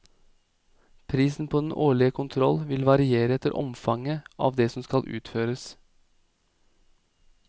Prisen på den årlige kontroll vil variere etter omfanget av det som skal utføres.